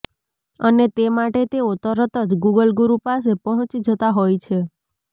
અને તે માટે તેઓ તરત જ ગુગલ ગુરુ પાસે પહોંચી જતા હોય છે